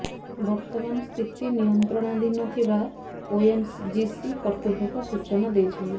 ବର୍ତ୍ତମାନ ସ୍ଥିତି ନିୟନ୍ତ୍ରଣାଧୀନ ଥିବା ଓଏନଜିସି କର୍ତ୍ତୃପକ୍ଷ ସୂଚନା ଦେଇଛନ୍ତି